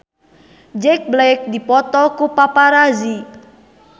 Jack Black dipoto ku paparazi